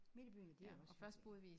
Midt i byen det er også hyggeligt